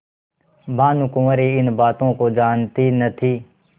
भानुकुँवरि इन बातों को जानती न थी